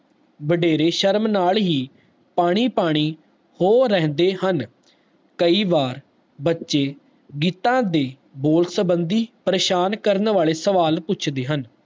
ਵਡੇਰੇ ਸ਼ਰਮ ਨਾਲ ਹੀ ਪਾਣੀ ਪਾਣੀ ਹੋ ਰੇਂਦੇ ਹਨ ਕਈ ਬਾਰ ਬਚੇ ਗੀਤਾ ਦੀ ਬੋਲ ਸੰਬੰਦੀ ਪ੍ਰੇਸ਼ਾਨ ਕਰਨ ਵਾਲੇ ਸਵਾਲ ਪੁੱਛਦੇ ਹਨ